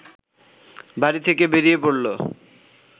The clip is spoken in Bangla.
বাড়ি থেকে বেরিয়ে পড়ল